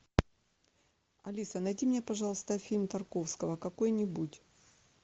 алиса найди мне пожалуйста фильм тарковского какой нибудь